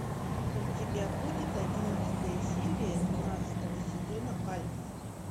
у тебя будет одиннадцатая серия двенадцатого сезона альф